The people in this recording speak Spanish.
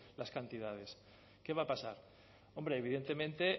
las cantidades qué va a pasar hombre evidentemente